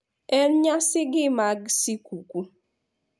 E nyasigi mag skuku.